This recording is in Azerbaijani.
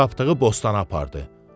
Tapdığı bostana apardı.